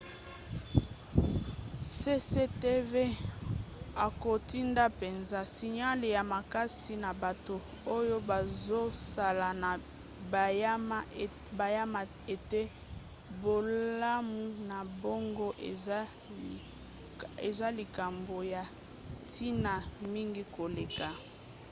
cctv akotinda mpenza signale ya makasi na bato oyo bazosala na banyama ete bolamu na bango eza likambo ya ntina mingi koleka